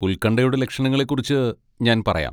ഉൽകൺഠയുടെ ലക്ഷണങ്ങളെ കുറിച്ച് ഞാൻ പറയാം.